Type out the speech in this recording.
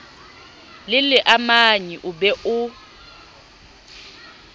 le leamanyi o be o